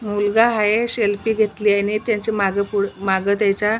मुलगा हाये सेल्फी घेतली आणि त्याच्या मागे पु माग त्याच्या--